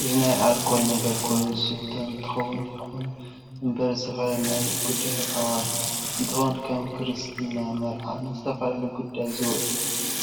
እዚ ናይ ኣልኮል ነገር ኮይን ዝስተ እንትከውን ይከኩን እንበር ዝተፈላላዩ ናይ ጉደር ፣ኣዋሽ እንትከውን ክም ክርስትና ፣ምርዓ ፣ንዝተፈላላዩ ጉዳይ ዝውዕል